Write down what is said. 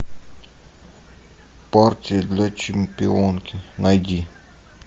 партия для чемпионки найди